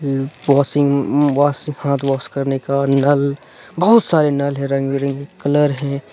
अम washing wash से हाथ wash करने का नल बहुत सारे नल हैं रंग बिरंगे कलर हैं।